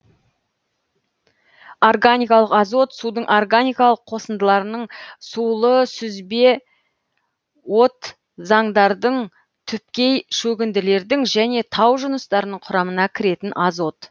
органикалың азот судың органикалық қосындыларының сулы сүзбетозаңдардың түпкей шөгінділердің және тау жыныстарының құрамына кіретін азот